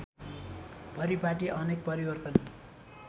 परिपाटी अनेक परिवर्तन